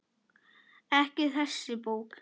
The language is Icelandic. Ekki þessi bók.